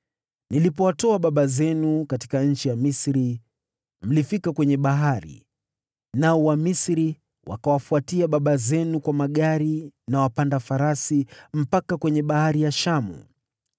Nilipowatoa baba zenu Misri, mlifika kwenye bahari, nao Wamisri wakawafuatia baba zenu kwa magari na wapanda farasi mpaka kwenye Bahari ya Shamu.